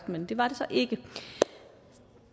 men det var det så ikke